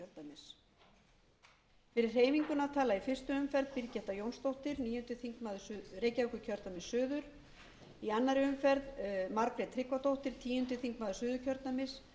fyrir hreyfinguna tala í fyrstu umferð birgitta jónsdóttir níundi þingmaður reykjavíkurkjördæmis suður í annarri umferð margrét tryggvadóttir tíundi þingmaður suðurkjördæmis